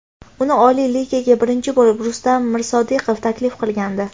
Uni Oliy Ligaga birinchi bo‘lib Rustam Mirsodiqov taklif qilgandi.